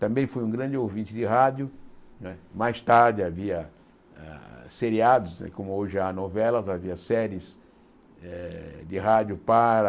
Também fui um grande ouvinte de rádio né, mais tarde havia ah seriados né, como hoje há novelas, havia séries de rádio para...